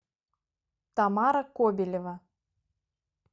тамара кобелева